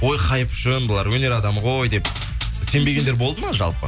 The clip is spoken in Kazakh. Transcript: ой хайп үшін бұлар өнер адамы ғой деп сенбегендер болды ма жалпы